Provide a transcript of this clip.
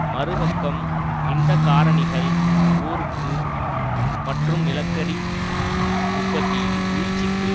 மறு பக்கம் இந்த காரணிகள் ஊருக்கு மற்றும் நிலக்கரி உற்பத்தியில் வீழ்ச்சிக்கு